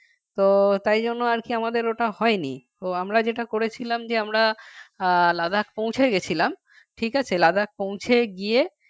তো তাই জন্য আর কি আমাদের ওটা হয়নিতো আমরা যেটা করেছিলাম যে আমরা আহ Ladakh পৌঁছে গেছিলাম ঠিক আছে Ladakh পৌঁছে গিয়ে